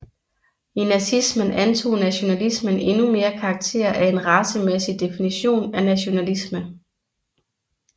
I nazismen antog nationalismen endnu mere karakter af en racemæssig definition af nationalisme